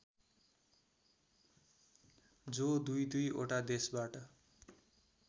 जो दुईदुईवटा देशबाट